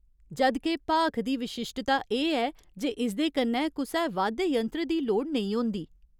जद् के भाख दी विशिश्टता एह् ऐ जे इसदे कन्नै कुसै वाद्य यंत्र दी लोड़ नेईं होंदी।